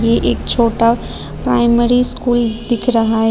ये एक छोटा प्राइमरी स्कूल दिख रहा है।